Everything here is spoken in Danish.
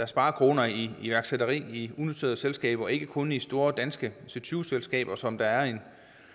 sparekroner i iværksætteri i unoterede selskaber og ikke kun i store danske c20 selskaber som der er en